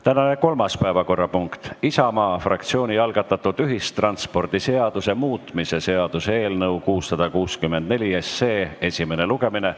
Tänane kolmas päevakorrapunkt on Isamaa fraktsiooni algatatud ühistranspordiseaduse muutmise seaduse eelnõu 664 esimene lugemine.